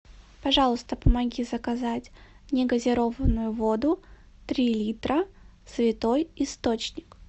пожалуйста помоги заказать негазированную воду три литра святой источник